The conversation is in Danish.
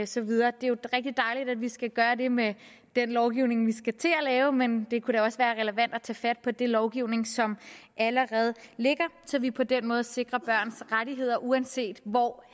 så videre det er jo rigtig dejligt at vi skal gøre det med den lovgivning vi skal til at lave men det kunne da også være relevant at tage fat på den lovgivning som allerede ligger så vi på den måde sikrer børns rettigheder uanset hvor